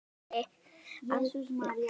Á þínum aldri, veinaði